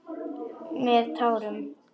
Með tárum.